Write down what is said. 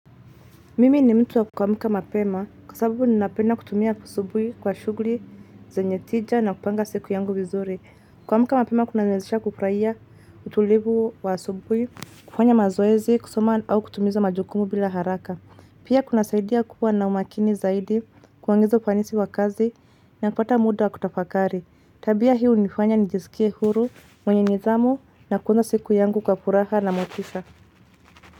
Mimi ni mtu wa kuamka mapema kwa sababu ninapenda kutumia asubuhi kwa shughuli zenye tija na kupanga siku yangu vizuri. Kuamka mapema kunaniwezesha kufurahia utulivu wa asubuhi, kufanya mazoezi kusoma au kutumiza majukumu bila haraka. Pia kuna saidia kuwa na umakini zaidi kuangizo fanisi wa kazi na kupata muda wa kutafakari. Tabia hunifanya nijisikie huru mwenye nidhamu na kuona siku yangu kwa furaha na motisha.